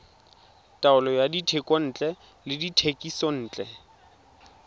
taolo ya dithekontle le dithekisontle